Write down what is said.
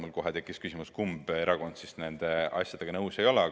Mul tekkis seepeale kohe küsimus, kumb erakond nende asjadega nõus ei ole.